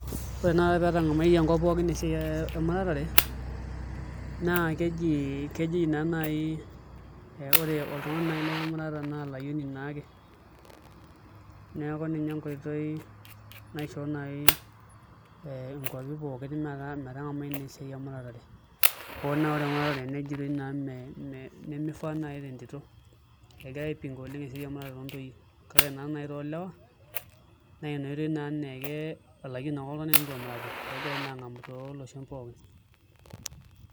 Ore tenakata petangamaitie enkop pookin esiae ee emuratare naa kejia kejia naa naai aa ore oltungani nai lemurata naa olayioni naake neeku ninye enkoitoi naishoo nai ee inkuapi pooki metaa metangamai naa esiae emuratare hoo naa ore emuratare nejitoi naa mee mee nemeifaa nai tentito egirae aipinga oleng' esiae emurate ontoyie kake ore nayi toolewa naa inoitoi nayi naa olayioni naake enitu emurata naa Ina pee egirae aangamu tooloshon pooki.